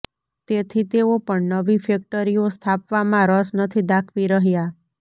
તેથી તેઓ પણ નવી ફૅકટરીઓ સ્થાપવામાં રસ નથી દાખવી રહ્યા